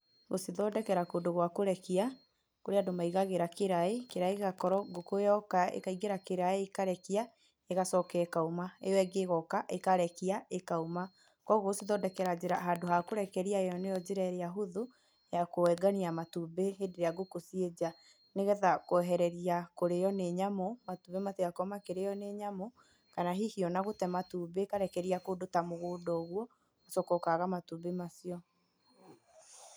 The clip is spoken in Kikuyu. Gũcithondekera kũndũ gwa kũrekia kũrĩ andũ maigagĩra kĩraĩ, kĩraĩ gĩgakorwo ngũkũ yokũ ikaingĩra kĩraĩ ĩkarekia, ĩgacoka ĩkauma, ĩyo ĩngĩ ĩgoka ĩgacoka ĩkauma kwoguo ũgũcithondekera handũ hakũrekeria nĩyo njĩra ĩrĩa huthu ya kwongania matumbĩ rĩrĩa ngũkũ ciĩ nja nĩgetha kwehereria kũrĩwa nĩ nyamũ matumbĩ matigakorwe makĩrĩwa nĩ nyamũ kana hihi gũte matumbĩ kũrekeria kũndũ ta mũgunda ũguo ũgacoka ũkaga matũmbĩ macio